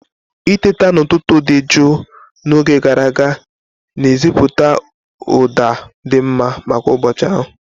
Itete n'ụtụtụ dị jụụ n'oge gara aga na-esetịpụ ụda dị mma maka ụbọchị ahụ.